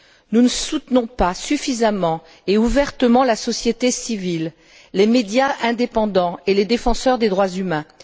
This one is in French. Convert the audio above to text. Nous ne soutenons pas suffisamment et ouvertement la société civile, les médias indépendants et les défenseurs des droits humains.